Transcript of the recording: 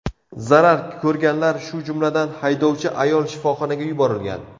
Zarar ko‘rganlar, shu jumladan, haydovchi ayol shifoxonaga yuborilgan.